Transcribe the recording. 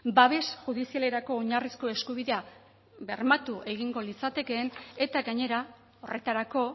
babes judizialerako oinarrizko eskubidea bermatu egingo litzatekeen eta gainera horretarako